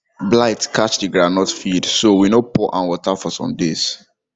blight catch the groundnut field so we no pour am water for some days